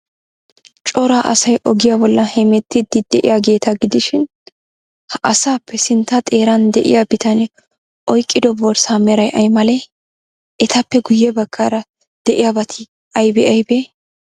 Cora asay ogiyaa bollan hemettiiddi de'iyaageeta gidishin, ha asaappe sintta xeeran de'iyaa bitanee oyqqido borssaa meray ay malee? Etappe guyye baggaara de'iyaabati aybee aybee?